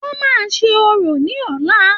Wọn máa ṣe orò ní ọ̀la.